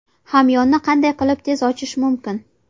Hamyonni qanday qilib tez ochish mumkin?